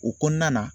O kɔnɔna na